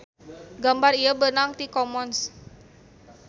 Gambar ieu beunang ti commons.